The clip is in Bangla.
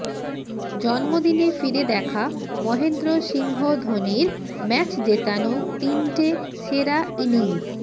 জন্মদিনে ফিরে দেখা মহেন্দ্র সিংহ ধোনির ম্যাচ জেতানো তিনটে সেরা ইনিংস